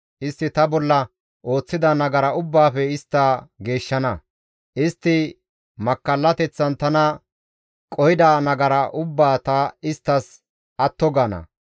Istti ta bolla ooththida nagara ubbaafe ta istta geeshshana; istti makkallateththan tana qohida nagara ubbaa ta isttas atto gaana.